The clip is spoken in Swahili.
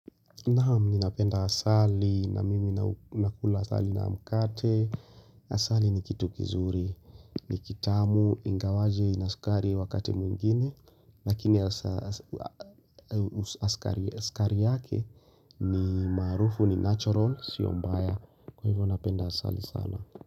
Naam ninapenda asali na mimi nakula asali na mkate Asali ni kitu kizuri, ni kitamu, ingawaje, ina sukari wakati mwingine Lakini skari yake ni maarufu ni natural, sio mbaya Kwa hivyo napenda asali sana.